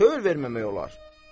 Nə tək verməmək olar?